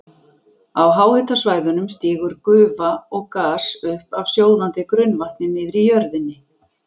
Á háhitasvæðunum stígur gufa og gas upp af sjóðandi grunnvatni niðri í jörðinni.